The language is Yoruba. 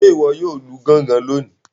Ṣe iwọ yóò Lu gangan lóni?